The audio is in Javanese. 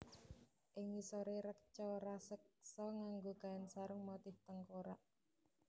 Ing ngisoré reca raseksa nganggo kain sarung motif tengkorak